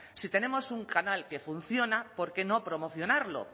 si tenemos un canal que funciona por qué no promocionarlo